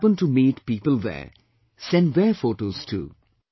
If you happen to meet people there, send their photos too